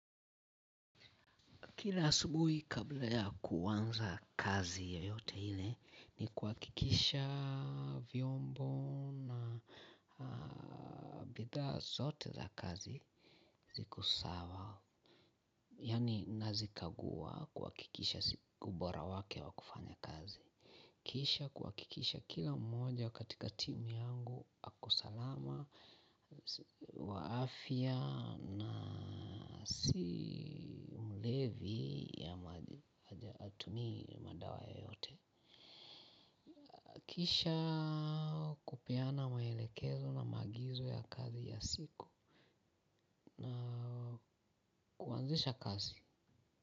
Kila asubuhi kabla ya kuanza kazi yoyote ile ni kuhakikisha vyombo na bidhaa zote za kazi ziko sawa. Yaani nazikagua kuhakikisha ziko ubora wake wa kufanya kazi. Kisha kuhakikisha kila mmoja katika timu yangu ako salama, wa afya na si mlevi ama hatumii madawa yeyote. Kisha kupeana maelekezo na maagizo ya kazi ya siku, na kuanzisha kazi.